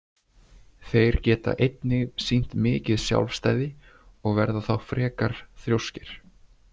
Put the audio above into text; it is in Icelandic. Þeir geta einnig sýnt mikið sjálfstæði og verða þá frekar þrjóskir.